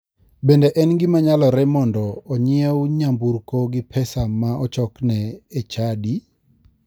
Bende en gima nyalore mondo onyiew nyamburko gi pesa ma ochokne e chadi?